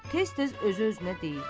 Tez-tez özü-özünə deyir.